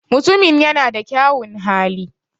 Mutumin ya na da kyaun hali